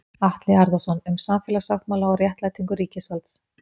Atli Harðarson, Um samfélagssáttmála og réttlætingu ríkisvalds.